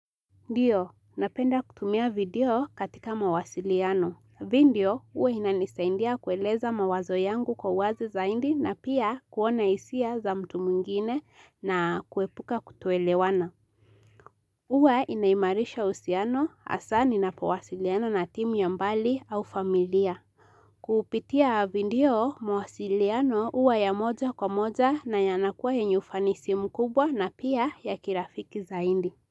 Ndio, napenda kutumia video katika mawasiliano. Video, huwa inanisaidia kueleza mawazo yangu kwa wazi zaidi na pia kuona hisia za mtu mwingine na kuepuka kutoelewana. Huwa inaimarisha uhusiano hasa ninapowasiliana na timu ya mbali au familia. Kupitia video mawasiliano huwa ya moja kwa moja na yanakuwa yenye ufanisi mkubwa na pia ya kirafiki zaidi.